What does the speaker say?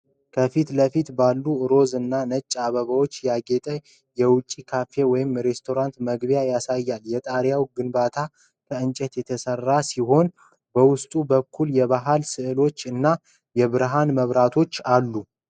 ከፊት ለፊት ባሉ ሮዝ እና ነጭ አበባዎች ያጌጠ የውጭ ካፌ ወይም ሬስቶራንት መግቢያን ያሳያል። የጣሪያው ግንባታ ከእንጨት የተሰራ ሲሆን፣ በውስጥ በኩልም የባህል ስዕሎች እና የብርሃን መብራቶች አሉት